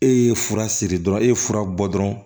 E ye fura siri dɔrɔn e ye fura bɔ dɔrɔn